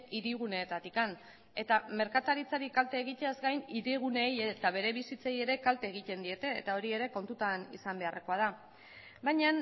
hiriguneetatik eta merkataritzari kalte egiteaz gain hiriguneei eta bere bizitzei ere kalte egiten diete eta hori ere kontutan izan beharrekoa da baina